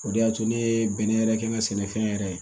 O de y'a to ne ye bɛnɛ yɛrɛ kɛ n ka sɛnɛfɛn yɛrɛ ye